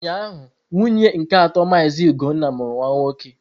Ụnyahụ, nwunye nke atọ Mazị ugonna mụrụ nwa nwoke.